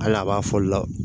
Hali a b'a fɔli la